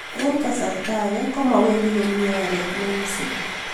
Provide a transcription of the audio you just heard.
Eng' kasarta ake komawendi komie oret nekisubi